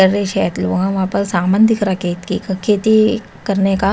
कर रे शायद लो वहां वहां पर सामान दिख रहा खेत की का खेती करने का--